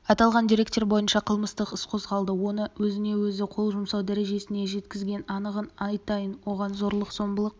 аталған дерек бойынша қылмыстық іс қозғалды оны өзіне-өзі қол жұмсау дәрежесіне жеткізген анығын айтайын оған зорлық-зомбылық